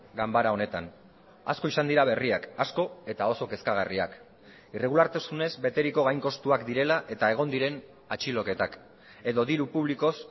ganbara honetan asko izan dira berriak asko eta oso kezkagarriak irregulartasunez beteriko gain kostuak direla eta egon diren atxiloketak edo diru publikoz